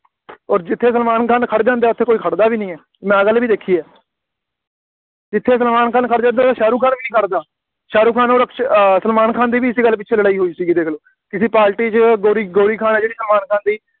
ਔਰ ਜਿੱਥੇ ਸਲਮਾਨ ਖਾਨ ਖੜ੍ਹ ਜਾਂਦਾ ਉੱਥੇ ਕੋਈ ਖੜ੍ਹਦਾ ਵੀ ਨਹੀਂ ਹੈ, ਮੈਂ ਆਹ ਗੱਲ ਵੀ ਦੇਖੀ ਹੈ, ਜਿੱਥੇ ਸਲਮਾਨ ਖਾਨ ਖੜ੍ਹ ਜਾਵੇ, ਉੱਥੇ ਸ਼ਾਹਰੁਖ ਖਾਨ ਵੀ ਨਹੀਂ ਖੜ੍ਹਦਾ, ਸ਼ਾਹਰੁਖ ਅੋਰ ਅਕਸ਼ੇ ਅਹ ਸਲਮਾਨ ਖਾਨ ਦੀ ਵੀ ਇਸੇ ਗੱਲ ਪਿੱਛੇ ਲੜਾਈ ਹੋਈ ਸੀ ਦੇਖ ਲਓ, ਕਿਸੇ ਪਾਰਟੀ ਵਿੱਚ ਗੌਰੀ ਗੌਰੀ ਖਾਨ ਹੈ ਜਿਹੜੀ ਸਲਮਾਨ ਖਾਨ ਦੀ